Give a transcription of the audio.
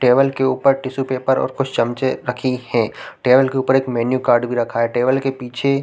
table के ऊपर tissue paper और कुछ चम्मचे रखी है टेबल के उपर एक मेनू कार्ड भी रखा है टेबल के पीछे--